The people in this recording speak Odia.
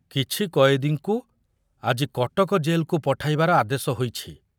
କିଛି କଏଦୀଙ୍କୁ ଆଜି କଟକ ଜେଲକୁ ପଠାଇବାର ଆଦେଶ ହୋଇଛି।